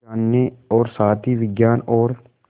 यह जानने और साथ ही विज्ञान और